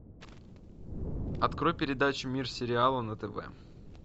открой передачу мир сериала на тв